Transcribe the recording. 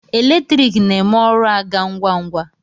Eletriki na-eme ọrụ a gaa ngwa ngwa.